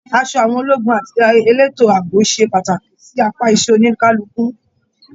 Aṣọ àwọn ológun àti eleto ààbò ṣe pàtàkì sí apá iṣẹ oníkálukú.